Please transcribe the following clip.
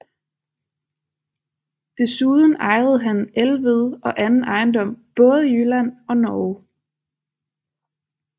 Desuden ejede han Elved og anden ejendom både i Jylland og Norge